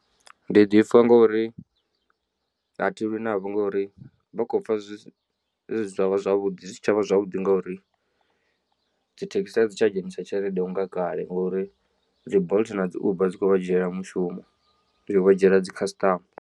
Ndi ḓipfa ngori a thi lwi navho ngori vha khou pfa zwi si tshavha zwavhuḓi zwi si tshavha zwavhuḓi ngauri dzi thekhisi a dzi tsha dzhenisa tshelede unga kale ngori dzi bolt na dzi uber dzi khou vha dzhiela mushumo dzi vha dzhiela dzi customer.